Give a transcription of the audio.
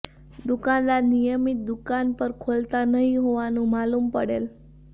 દુકાનદાર નિયમિત દુકાન પણ ખોલતા નહીં હોવાનું માલુમ પડેલ